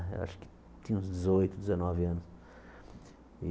Eu acho que tinha uns dezoito, dezenove anos.